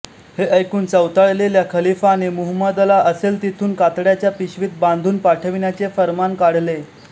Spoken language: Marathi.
हे ऐकून चवताळलेल्या खलीफाने मुहम्मदला असेल तेथून कातड्याच्या पिशवीत बांधून पाठविण्याचे फर्मान काढले